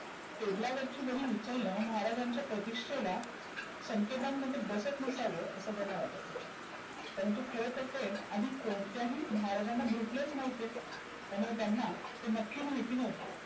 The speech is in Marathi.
table ला वरची वही उचलनं महाराज्यांच्या प्रतीष्ठेला संकेतांमध्ये बसत नसावं असे त्यांना वाटत होतं. परंतु खरतर ते आधी कोणत्या महाराज्यांना भेटलेचं नव्हते. त्यामुळे त्यांना नक्की महिती नव्हतं.